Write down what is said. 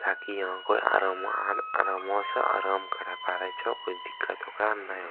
ताकि यहाँ कोय अरमा आर करमो स अराम करे पारे छो कोय दिक्कत ओकरा नाय --